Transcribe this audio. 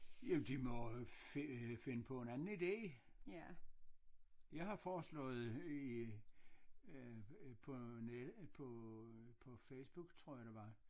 Jamen de må finde finde på en anden ide jeg har foreslået i øh på net på på Facebook tror jeg det var